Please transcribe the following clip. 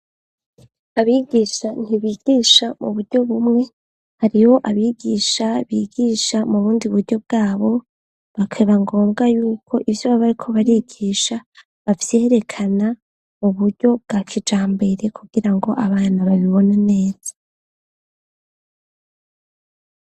Abigisha ntibigisha mu buryo bumwe hariho abigisha bigisha mubundi buryo bwabo bakeba ngombwa y'uko ivyo babari ko barigisha bavyerekana mu buryo bwa kijambere kugirango abana babibona neza.